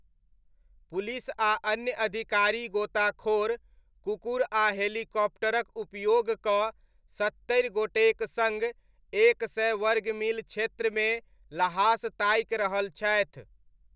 Police आ अन्य अधिकारी गोताखोर, कुकुर आ हेलीकॉप्टरक उपयोग कऽ सत्तरि गोटेक सङ्ग एक सय वर्ग मील क्षेत्रमे लहास ताकि रहल छथि ।